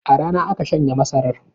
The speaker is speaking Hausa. A rana aka shanya masarar?